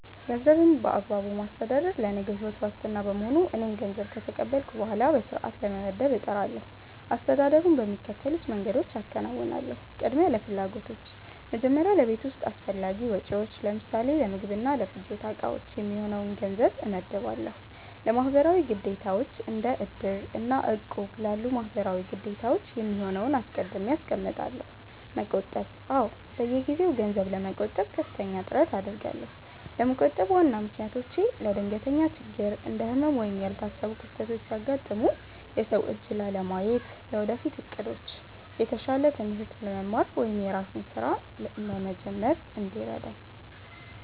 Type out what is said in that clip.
ገንዘብን በአግባቡ ማስተዳደር ለነገው ሕይወት ዋስትና በመሆኑ፣ እኔም ገንዘብ ከተቀበልኩ በኋላ በሥርዓት ለመመደብ እጥራለሁ። አስተዳደሩን በሚከተሉት መንገዶች አከናውናለሁ፦ ቅድሚያ ለፍላጎቶች፦ መጀመሪያ ለቤት ውስጥ አስፈላጊ ወጪዎች (ለምሳሌ ለምግብና ለፍጆታ ዕቃዎች) የሚሆነውን ገንዘብ እመድባለሁ። ለማህበራዊ ግዴታዎች፦ እንደ "እድር" እና "እቁብ" ላሉ ማህበራዊ ግዴታዎች የሚሆነውን አስቀድሜ አስቀምጣለሁ። መቆጠብ፦ አዎ፣ በየጊዜው ገንዘብ ለመቆጠብ ከፍተኛ ጥረት አደርጋለሁ። ለመቆጠብ ዋና ምክንያቶቼ፦ ለድንገተኛ ችግር፦ እንደ ህመም ወይም ያልታሰቡ ክስተቶች ሲያጋጥሙ የሰው እጅ ላለማየት። ለወደፊት ዕቅዶች፦ የተሻለ ትምህርት ለመማር ወይም የራስን ሥራ ለመጀመር እንዲረዳኝ።